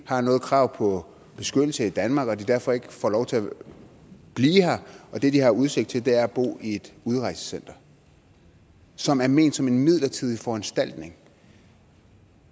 har noget krav på beskyttelse i danmark og de derfor ikke får lov til at og at det de har udsigt til er at bo i et udrejsecenter som er ment som en midlertidig foranstaltning